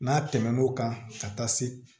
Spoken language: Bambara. N'a tɛmɛn'o kan ka taa se